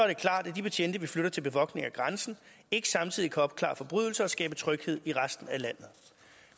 det klart at de betjente vi flytter til bevogtning af grænsen ikke samtidig kan opklare forbrydelser og skabe tryghed i resten af landet